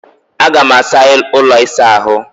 Aga m asa ụlọ ịsa ahụ